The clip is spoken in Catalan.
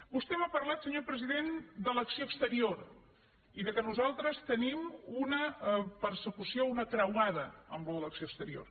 vostè m’ha parlat senyor president de l’acció exterior i que nosaltres tenim una persecució una creuada amb això de l’acció exterior